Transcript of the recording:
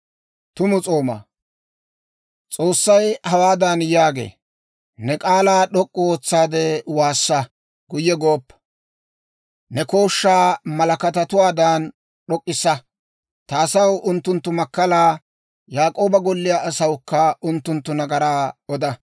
S'oossay hawaadan yaagee; «Ne k'aalaa d'ok'k'u ootsaade waassa; guyye gooppa. Ne kooshshaa malakkataawaadan d'ok'k'issa. Ta asaw unttunttu makkalaa, Yaak'ooba golliyaa asawukka unttunttu nagaraa oda.